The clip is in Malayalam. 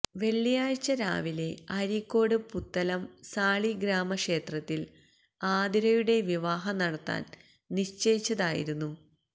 വെള്ളിയാഴ്ച രാവിലെ അരീക്കോട് പുത്തലം സാളിഗ്രാമക്ഷേത്രത്തിൽ ആതിരയുടെ വിവാഹം നടത്താൻ നിശ്ചയിച്ചതായിരുന്നു